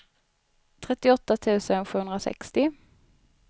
trettioåtta tusen sjuhundrasextio